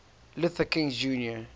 luther king jr